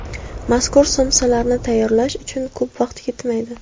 Mazkur somsalarni tayyorlash uchun ko‘p vaqt ketmaydi.